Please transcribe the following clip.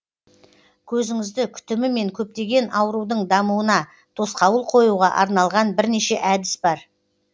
көзіңізді күтімі мен көптеген аурудың дамуына тосқауыл қоюға арналған бірнеше әдіс бар